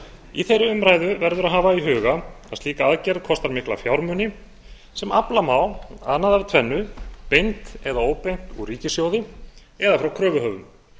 í þeirri umræðu verður að hafa í huga að slík aðgerð kostar mikla fjármuni sem afla má annað af tvennu beint eða óbeint úr ríkissjóði eða frá kröfuhöfum